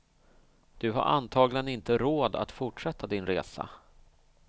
Du har antagligen inte råd att fortsätta din resa.